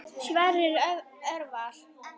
Sverrir Örvar.